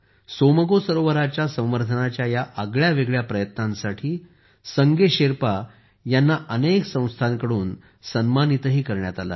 सोमगो सरोवराच्या संवर्धनाच्या या आगळ्यावेगळ्या प्रयत्नासाठी संगे शेरपा यांना अनेक संस्थांकडून सन्मानितही करण्यात आले आहे